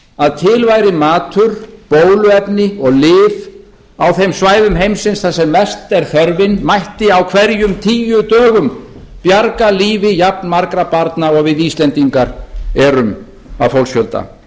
að til væri matur bóluefni og lyf á þeim svæðum heimsins þar sem mest er þörfin mætti á hverjum tíu dögum bjarga lífi jafnmargra barna og við íslendingar eru að fólksfjölda